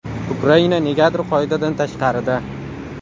Ukraina negadir qoidadan tashqarida.